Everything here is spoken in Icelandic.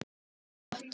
Lífið er mjög gott.